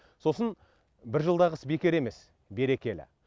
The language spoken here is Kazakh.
сосын бір жылдағы іс бекер емес берекелі